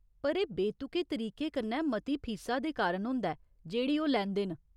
पर एह् बेतुके तरीके कन्नै मती फीसा दे कारण होंदा ऐ जेह्ड़ी ओह् लैंदे न।